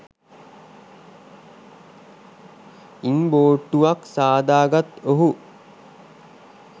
ඉන් බෝට්ටුවක් සාදාගත් ඔහු